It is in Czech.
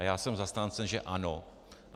A já jsem zastáncem že ano.